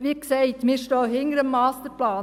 Wie gesagt: Wir stehen hinter dem Masterplan.